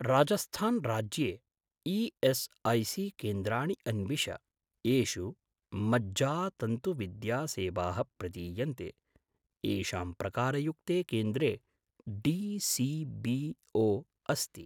राजस्थान् राज्ये ई.एस्.ऐ.सी.केन्द्राणि अन्विष येषु मज्जातन्तुविद्यासेवाः प्रदीयन्ते, येषां प्रकारयुक्ते केन्द्रे डी.सी.बी.ओ. अस्ति।